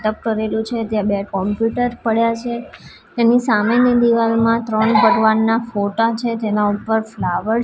ટપ કરેલું છે ત્યાં બે કોમ્પ્યુટર પડ્યા છે તેની સામેની દીવાલમાં ત્રણ ભગવાનના ફોટા છે જેના ઉપર ફ્લાવર --